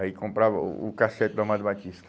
Aí comprava o o cassete do Amado Batista.